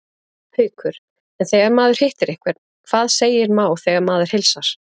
Haukur: En þegar maður hittir einhvern, hvað segir má þegar maður heilsar?